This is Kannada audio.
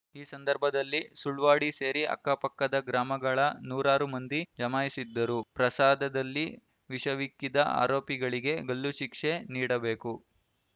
ಈ ಸಂದರ್ಭದಲ್ಲಿ ಸುಳ್ವಾಡಿ ಸೇರಿ ಅಕ್ಕಪಕ್ಕದ ಗ್ರಾಮಗಳ ನೂರಾರು ಮಂದಿ ಜಮಾಯಿಸಿದ್ದರು ಪ್ರಸಾದದಲ್ಲಿ ವಿಷವಿಕ್ಕಿದ ಆರೋಪಿಗಳಿಗೆ ಗಲ್ಲು ಶಿಕ್ಷೆ ನೀಡಬೇಕು